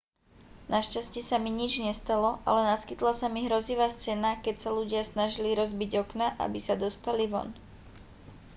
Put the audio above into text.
našťastie sa mi nič nestalo ale naskytla sa mi hrozivá scéna keď sa ľudia snažili rozbiť okná aby sa dostali von